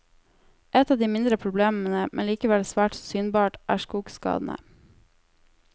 Et av de mindre problemene, men likevel svært så synbart, er skogskadene.